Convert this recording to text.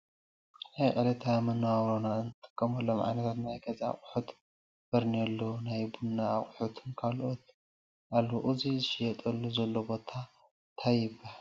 ናብ ዕልታዊ መንባብሮና እንጥቅመሎም ዓይንት ናይ ገዛ ኣቁሑት ፣ፈርኒሎ ፣ናይ ቡና ኣቁሑትን ካልኦትን ኣልዉ እዚ ዝሽየጥሉ ዘሎ ቦታ ታይ ይበሃል?